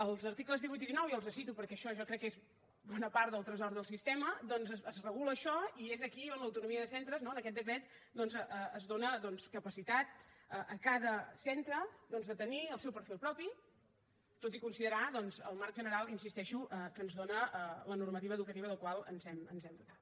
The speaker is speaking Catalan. als articles divuit i dinou i els els cito perquè això jo crec que és bona part del tresor del sistema doncs es regula això i és aquí on l’autonomia de centres no en aquest decret doncs es dóna capacitat a cada centre de tenir el seu perfil propi tot i considerar el marc general hi insisteixo que ens dóna la normativa educativa de la qual ens hem dotat